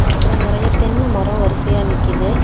அப்புறம் நெறைய தென்ன மரோ வரிசையா நிக்குது.